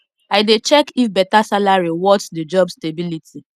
i dey check if better salary worth the job stability